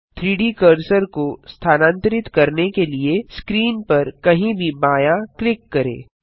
3डी कर्सर को स्थानांतरित करने के लिए स्क्रीन पर कहीं भी बायाँ क्लिक करें